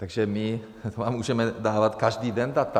Takže my vám můžeme dávat každý den data.